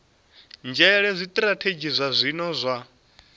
nzhele zwitirathedzhi zwa zwino zwa